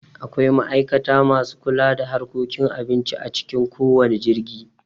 Akwai ma'aikata masu kula da harkokin abinci a cikin kowanne jirgi